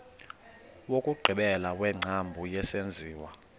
wokugqibela wengcambu yesenziwa